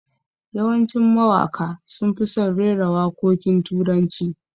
Yawancin mawaka sun fi son rera wakokin turanci